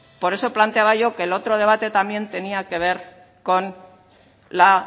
por eso planteaba yo que el otro debate tenía que ver con la